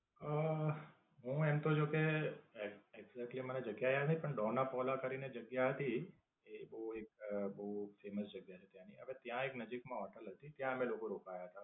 હમ હું એમ તો જો કે, exactly મને જગ્યા યાદ નથી પણ ડોનાપોલા કરીને જગ્યા હતી. એ એક બોવ famous જગ્યા છે ત્યાંની. ત્યાં એક નજીક માં હોટેલ હતી ત્યાં અમે લોકો રોકાયા હતા.